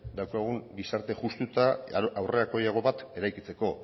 daukagun gizarte justu eta aurrerakoiago bat eraikitzeko